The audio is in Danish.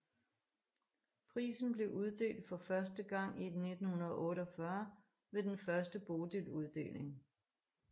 Prisen blev uddelt for første gang i 1948 ved den første Bodiluddeling